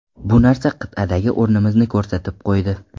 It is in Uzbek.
Bu narsa qit’adagi o‘rnimizni ko‘rsatib qo‘ydi.